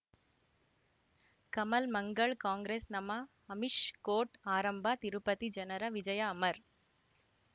Kamal Mangal Congress ನಮಃ Amish court ಆರಂಭ ತಿರುಪತಿ ಜನರ ವಿಜಯ ಅಮರ್